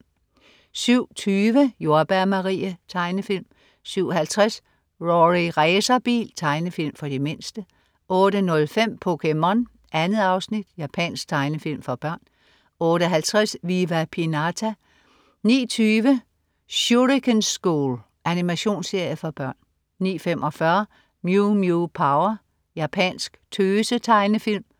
07.20 Jordbær Marie. Tegnefilm 07.50 Rorri Racerbil. Tegnefilm for de mindste 08.05 POKéMON. 2 afsnit. Japansk tegnefilm for børn 08.50 Viva Pinata 09.20 Shuriken School. Animationsserie for børn 09.45 Mew Mew Power. Japansk tøse-tegnefilm